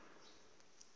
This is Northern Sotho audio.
ke be ke rata go